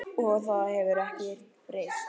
Og það hefur ekkert breyst.